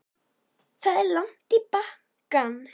Það er langt í bankann!